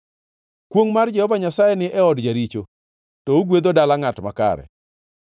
Kwongʼ mar Jehova Nyasaye ni e od jaricho, to ogwedho dala ngʼat makare.